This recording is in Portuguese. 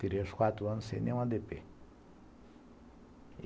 Tirei os quatro anos sem nenhum a dê dê